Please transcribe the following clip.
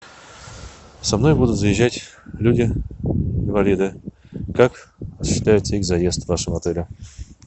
со мной будут заезжать люди инвалиды как осуществляется их заезд в вашем отеле